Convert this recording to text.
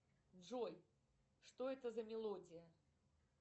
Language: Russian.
джой что это за мелодия